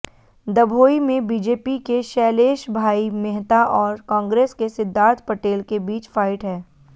दभोई में बीजेपी के शैलेशभाई मेहता और कांग्रेस के सिद्धार्थ पटेल के बीच फाइट है